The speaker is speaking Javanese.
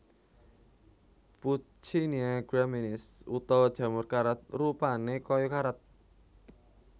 Puccinia graminis utawa jamur karat rupané kaya karat